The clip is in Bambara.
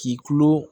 K'i tulo